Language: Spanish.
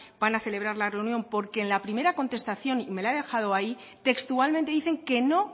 van a celebrar la reunión porque en la primera contestación y me la he dejado ahí textualmente dicen que no